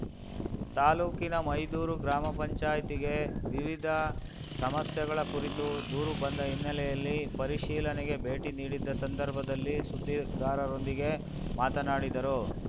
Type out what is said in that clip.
ತಾಲೂಕಿನ ಮೈದೂರು ಗ್ರಾಮ ಪಂಚಾಯ್ತಿಗೆ ವಿವಿಧ ಸಮಸ್ಯೆಗಳ ಕುರಿತು ದೂರು ಬಂದ ಹಿನ್ನೆಲೆಯಲ್ಲಿ ಪರಿಶೀಲನೆಗೆ ಭೇಟಿ ನೀಡಿದ್ದ ಸಂದರ್ಭದಲ್ಲಿ ಸುದ್ದಿಗಾರೊಂದಿಗೆ ಮಾತನಾಡಿದರು